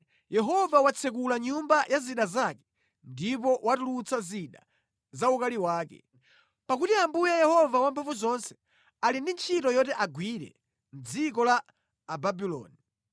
Yehova watsekula nyumba ya zida zake ndipo watulutsa zida za ukali wake, pakuti Ambuye Yehova Wamphamvuzonse ali ndi ntchito yoti agwire mʼdziko la Ababuloni.